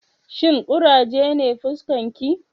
Shin kuraje ne fuskarki?